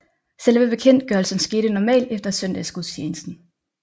Selve bekendtgørelsen skete normalt efter søndagsgudstjenesten